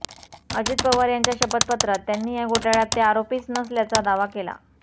अजित पवार यांच्या शपथपत्रात त्यांनी या घोटाळ्यात ते आरोपीच नसल्याचा दावा केला